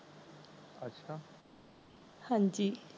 ਹਾਂਜੀ